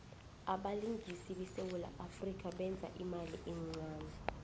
abelingisi besewula afrika beza imali encane